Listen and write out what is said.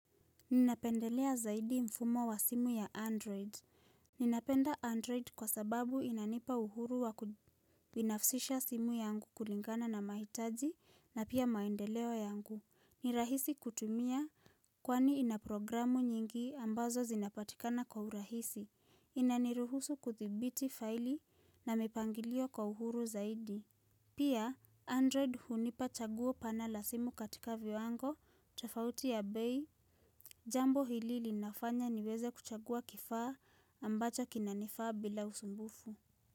Ninapendelea zaidi mfumo wa simu ya Android. Ninapenda Android kwa sababu inanipa uhuru wakubinafsisha simu yangu kulingana na mahitaji na pia maendeleo yangu. Nirahisi kutumia kwani inaprogramu nyingi ambazo zinapatikana kwa urahisi. Inaniruhusu kuthibiti faili na mipangilio kwa uhuru zaidi. Pia, Android hunipa chaguo pana la simu katika viwango, tafauti ya bei, Jambo hili linafanya niweze kuchagua kifaa ambacho kinanifaa bila usumbufu.